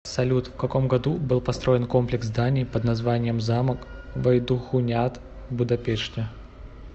салют в каком году был построен комплекс зданий под названием замок вайдахуняд в будапеште